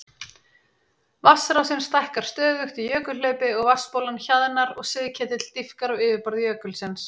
Vatnsrásin stækkar stöðugt í jökulhlaupi og vatnsbólan hjaðnar og sigketill dýpkar á yfirborði jökulsins.